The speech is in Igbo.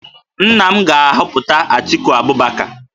Nna m ga-ahọpụta Atiku Abubakar